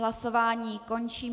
Hlasování končím.